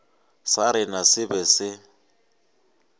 sa rena se be se